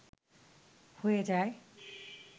হয়ে যায়